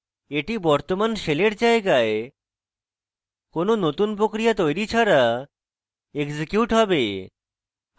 এটি বর্তমান শেলের জায়গায় কোনো নতুন প্রক্রিয়া তৈরি ছাড়া এক্সিকিউট হবে